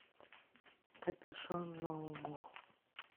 копюшон ноу мо